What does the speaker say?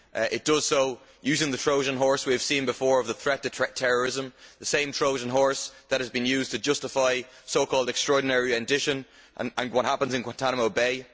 It does so using the Trojan horse we have seen before of the threat of terrorism, the same Trojan horse that has been used to justify so called extraordinary rendition' and what happens in Guantanamo Bay.